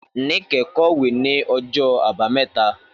Níkẹ̀ kọ̀wé ní ọjọ́ Àbámẹ́ta.